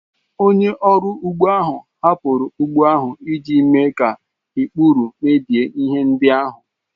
Onye ọrụ ugbo ahụ hapụrụ ugbo ahụ iji mee ka ikpuru mebie ihe ndị ahụ